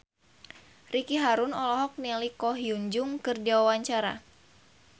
Ricky Harun olohok ningali Ko Hyun Jung keur diwawancara